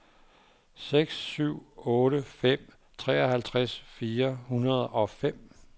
seks syv otte fem treoghalvfems fire hundrede og fem